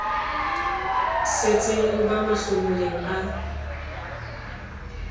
setseng o ba mahlomoleng a